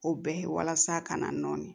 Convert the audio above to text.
O bɛɛ ye walasa ka na nɔni